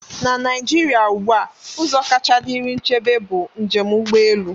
Na Naijiria ugbu a, ụzọ kacha dịrị nchebe bụ njem ụgbọ elu.